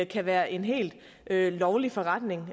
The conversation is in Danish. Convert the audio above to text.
kan være en helt lovlig forretning